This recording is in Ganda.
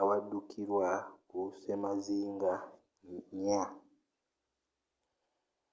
awaddukirwa ku ssemazinga nnya